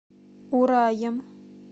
ураем